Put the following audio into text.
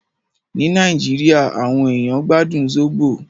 Ní Nàìjíríà, àwọn ènìyàn gbádùn Zobo.